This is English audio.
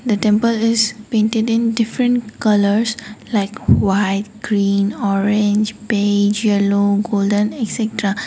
the temple is painted in different colours like white green orange beige yellow golden etcetera.